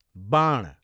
वाण